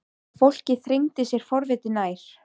Og fólkið þrengdi sér forvitið nær.